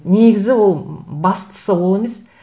негізі ол бастысы ол емес